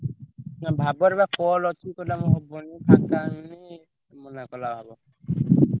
ନା ଭାବର ବା call ଅଛି କହିଲା ମୋର ହବନି ଫାଙ୍କା ହେଇନି, ମନାକଲା ଭାବ